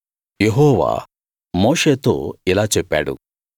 యెహోవా మోషేతో ఇలా చెప్పాడు